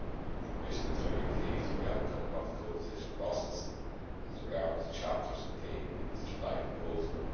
The Commission is very pleased with the outcome of the codecision process as regards the chapters contained in its July proposal.